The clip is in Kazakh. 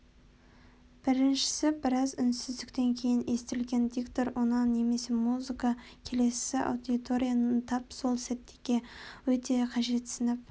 біріншісі біраз үнсіздіктен кейін естілген диктор үні немесе музыка келесісі аудиторияның тап сол сәттегі өте қажетсініп